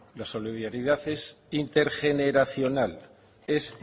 la solidaridad es intergeneracional es